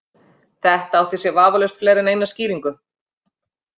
Þetta átti sér vafalaust fleiri en eina skýringu.